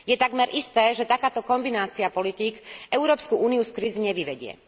Je takmer isté, že takáto kombinácia politík Európsku úniu z kríz nevyvedie.